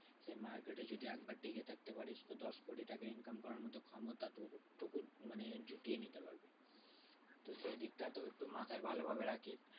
যে market এ যদি একবার টিকে থাকতে পারিস তো দশ কোটি টাকা income করার মতো ক্ষমতা তো তোকে নে জুটিয়ে নিতে হবে। তো সেদিকটা তো একটু মাথায় ভালো ভাবে রাখিস